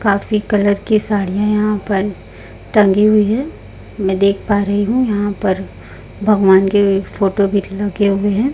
काफी कलर की साड़ियां यहां पर टंगी हुई है मैं देख पा रही हूं यहां पर भगवान के एक फोटो भी लगे हुए है।